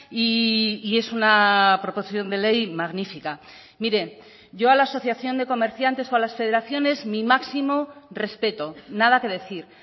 y es una proposición de ley magnifica mire yo a la asociación de comerciantes o a las federaciones mi máximo respeto nada que decir